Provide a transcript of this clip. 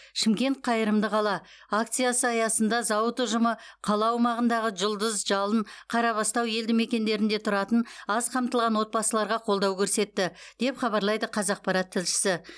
шымкент қайырымды қала акициясы аясында зауыт ұжымы қала аумағындағы жұлдыз жалын қарабастау елдімекендерінде тұратын аз қамтылған отбасыларға қолдау көрсетті деп хабарлайды қазақпарат тілшісі